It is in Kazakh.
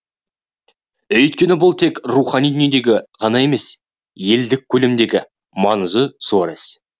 өйткені бұл тек рухани дүниедегі ғана емес елдік көлемдегі маңызы зор іс